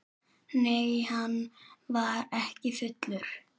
Nei, hann var ekki fullur.